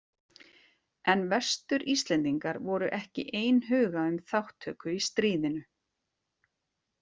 En Vestur-Íslendingar voru ekki einhuga um þátttöku í stríðinu.